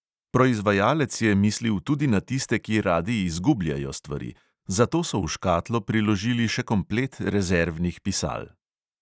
Proizvajalec je mislil tudi na tiste, ki radi izgubljajo stvari, zato so v škatlo priložili še komplet rezervnih pisal.